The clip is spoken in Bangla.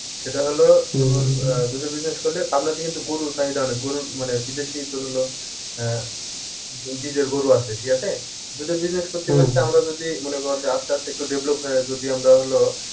সেটা হলো আহ দুধের business করলে পাবনাতে কিন্তু গরুর চাহিদা অনেক গরুর মানে বিদেশী তোর হলো আহ গরু আছে ঠিক আছে? দুধের business করতে করতে আমরা যদি মনে কর যে আস্তে আস্তে একটু develop হয়ে যদি আমরা হলো